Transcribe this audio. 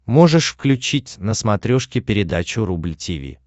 можешь включить на смотрешке передачу рубль ти ви